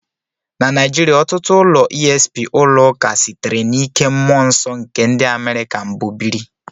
Na Naijiria, ọtụtụ ụlọ esp ụlọ ụka sitere n'ike mmụọ nsọ nke ndị America mbụ biri.